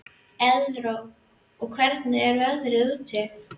Elírós, hvernig er veðrið úti?